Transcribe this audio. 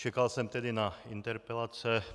Čekal jsem tedy na interpelace.